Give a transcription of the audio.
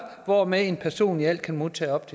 hvorved en person i alt kan modtage op